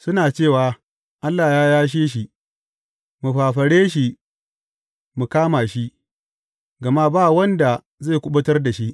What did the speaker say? Suna cewa, Allah ya yashe shi; mu fafare shi mu kama shi, gama ba wanda zai kuɓutar da shi.